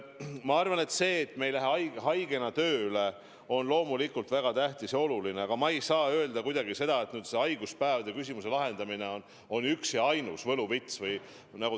Ma arvan, et see, et me ei lähe haigena tööle, on loomulikult väga tähtis, aga ma ei saa kuidagi öelda, et haiguspäevade küsimuse lahendamine on üks ja ainus võluvits.